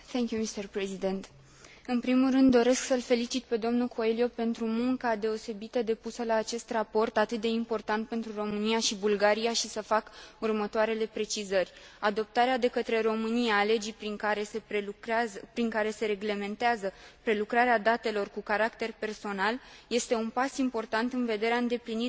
În primul rând, doresc să îl felicit pe dl Coelho pentru munca deosebită depusă la acest raport, atât de important pentru România și Bulgaria, și să fac următoarele precizări adoptarea de către România a legii prin care se reglementează prelucrarea datelor cu caracter personal este un pas important în vederea îndeplinirii tuturor condițiilor de